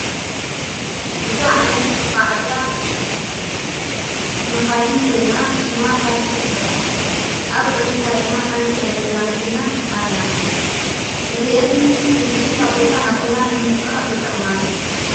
እዛ ዓይነት መጐዓ እዚያ መኻይን ኮይና ሽማ ታክሲትበሃል ኣብ ቅድሚታ ድማ ሓንቲ ናይ ገዛመከይና ኣላ እዚእን ሕዝቢ ካብ ቦታ ኣብ ቦታን ምንቂሰቓስ ይጠቕማና።